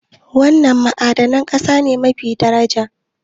Wana ma'adanan ƙasa ne yafi daraja?